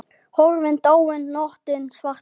Horfin, dáin nóttin svarta.